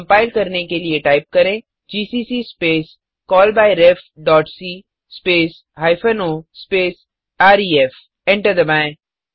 compile करने के लिए टाइप करें GCC space call by ref dot C space hyphen O space ref enter दबाएँ